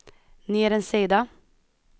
ner en sida